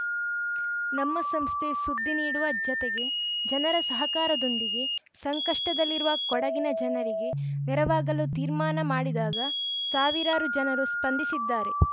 ನಮ್ಮ ಸಂಸ್ಥೆ ಸುದ್ದಿ ನೀಡುವ ಜತೆಗೆ ಜನರ ಸಹಕಾರದೊಂದಿಗೆ ಸಂಕಷ್ಟದಲ್ಲಿರುವ ಕೊಡಗಿನ ಜನರಿಗೆ ನೆರವಾಗಲು ತೀರ್ಮಾನ ಮಾಡಿದಾಗ ಸಾವಿರಾರು ಜನರು ಸ್ಪಂದಿಸಿದ್ದಾರೆ